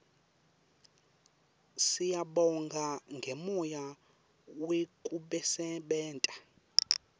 siyabonga ngemoya wekusebenta